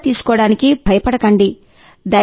టీకా తీసుకోవడానికి భయపడకండి